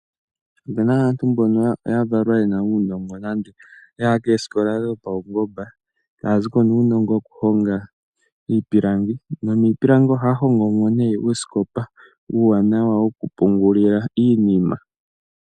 Opena aantu mbono ya valwa yena uunongo nenge yaya koosikola dho pawungomba etaya ziko nuunongo woku honga iipilangi nomiipilangi ohaya hongomo uusikopa uuwanawa woku pungulila iinima.